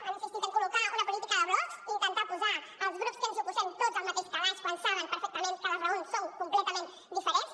han insistit a col·locar una política de blocs intentar posar els grups que ens hi oposem tots al mateix calaix quan saben perfectament que les raons són completament diferents